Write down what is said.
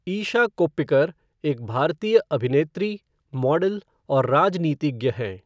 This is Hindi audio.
ईशा कोप्पिकर एक भारतीय अभिनेत्री, मॉडल और राजनीतिज्ञ हैं।